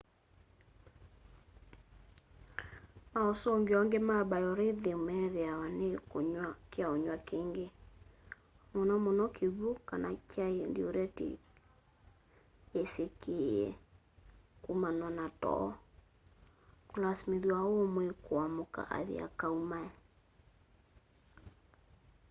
mausungio angi ma biorhythm meethiawa ni kunywa kyaunywa kingi muno muno kiwũ kana kyai duiretici yisikie kumanwa na too kuilasimithya umwi kuamka athi akaumae